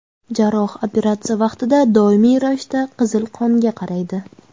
Jarroh operatsiya vaqtida doimiy ravishda qizil qonga qaraydi.